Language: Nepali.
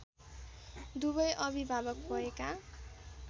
दुवै अभिभावक भएका